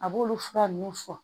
A b'olu fura nunnu fɔ